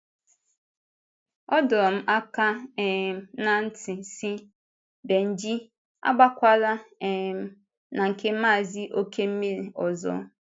Ọ dọrọ m aka um ná ntị, sị: “Bénjì, agbàkwàlà um na nke Maazị Okemiri ọzọ.”